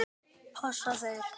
Passa þeir?